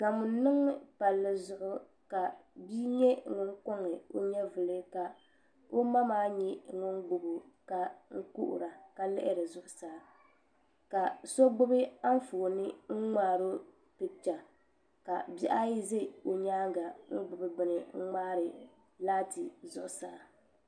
Gamo n niŋ palli zuɣu ka bia nyɛ ŋun koŋ o nyɛvuli ka o ma maa gbubo ka kuhura ka lihiri zuɣusaa ka so gbubi Anfooni n ŋmaaro picha ka bihi ayi ʒɛ o nyaanga n gbubi bini n ŋmaari laati zuɣusaa